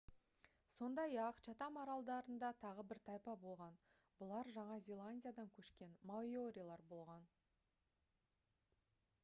сондай-ақ чатам аралдарында тағы бір тайпа болған бұлар жаңа зеландиядан көшкен маорилер болған